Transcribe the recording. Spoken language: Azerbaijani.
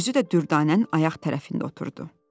Özü də Dürdanənin ayaq tərəfində oturdu.